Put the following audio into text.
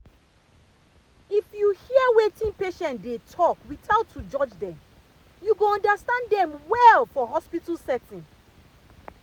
if you hear wetin patient dey talk without to judge dem you go understand dem well for hospital setting.